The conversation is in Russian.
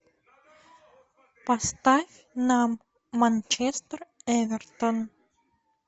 поставь нам манчестер эвертон